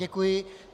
Děkuji.